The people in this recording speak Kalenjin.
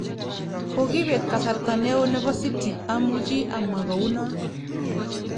Kokibet kasarta neo nebo City, amuchi amwa kou non.